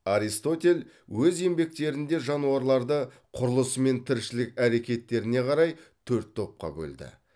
аристотель өз еңбектерінде жануарларды құрылысы мен тіршілік әрекеттеріне қарай төрт топқа бөлді